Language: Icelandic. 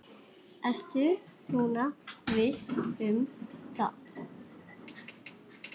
Ertu nú viss um það?